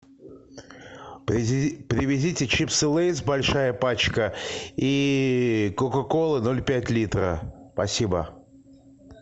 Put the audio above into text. привезите чипсы лейс большая пачка и кока колы ноль пять литра спасибо